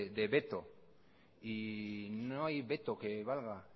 de veto y no hay veto que valga